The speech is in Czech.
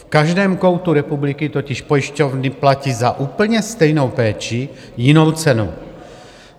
V každém koutu republiky totiž pojišťovny platí za úplně stejnou péči jinou cenu.